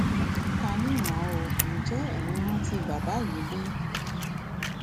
ta ni mo ò ǹjẹ ẹyin rántí baba yìí bí